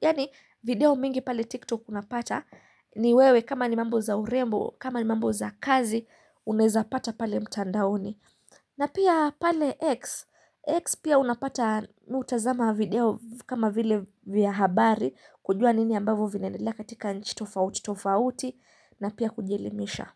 Yaani video mingi pale TikTok unapata ni wewe kama ni mambo za urembo, kama ni mambo za kazi Uneza pata pale mtandaoni na pia pale X X pia unapata mimi hutazama video kama vile vya habari kujua nini ambavyo vinaendelea katika nchi tofauti na pia kujelimisha.